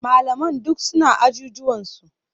Malaman duk suna ajujuwansu.